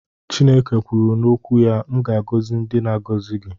Chineke kwuru n'okwu ya "M ga-agọzi ndị na-agọzi gị